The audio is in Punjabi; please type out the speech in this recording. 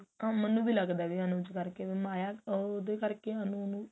ਮੈਨੂੰ ਵੀ ਲੱਗਦਾ ਕੀ ਅਨੁਜ ਕਰਕੇ ਮਾਇਆ ਉਹਦੇ ਕਰਕੇ ਅਨੂ ਨੂੰ